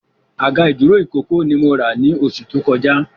Àga ìdúró ìkókó ni mo rà ni oṣù tó kọjá